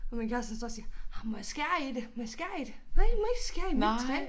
Og min kæreste står og siger ej må jeg skære i det må jeg skære i det? Nej du må ikke skære i mit træ